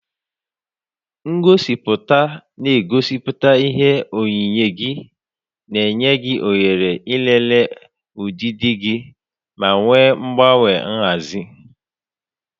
Ngosipụta na-egosipụta ihe oyiyi gị, na-enye gị ohere ịlele ọdịdị gị ma mee mgbanwe nhazi.